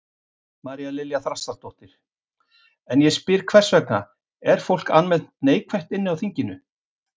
María Lilja Þrastardóttir: En ég spyr hvers vegna, er fólk almennt neikvætt inni á þinginu?